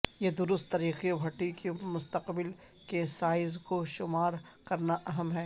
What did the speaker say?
یہ درست طریقے بھٹی کے مستقبل کے سائز کو شمار کرنا اہم ہے